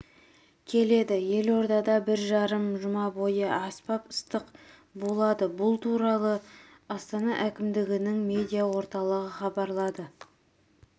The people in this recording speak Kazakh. келеді елордада бір жарым жұма бойы аспап ыстық болады бұл туралы астана әкімдігінің медиа-орталығы хабарлады